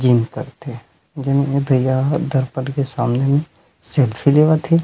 जीव पथ हे दुनो दया हे दरपट के सामने में सेल्फी ले अथि।